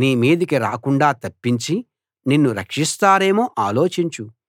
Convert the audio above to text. నీ మీదికి రాకుండా తప్పించి నిన్ను రక్షిస్తారేమో ఆలోచించు